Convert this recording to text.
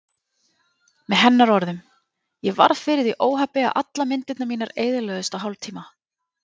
Með hennar orðum: Ég varð fyrir því óhappi að allar myndirnar mínar eyðilögðust á hálftíma.